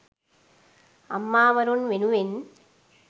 අම්මා වරුන් වෙනුවෙන්